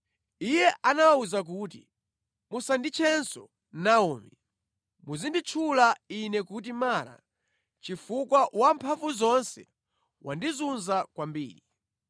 Iye anawawuza kuti, “Musanditchenso Naomi. Muzinditchula ine kuti Mara, chifukwa Wamphamvuzonse wandizunza kwambiri.